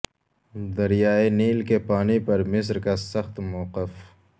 دریائے نیل کے پانی پر مصر کا سخت موقف